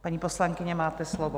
Paní poslankyně, máte slovo.